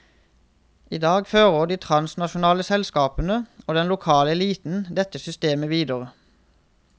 I dag fører de transnasjonale selskapene og den lokale eliten dette systemet videre.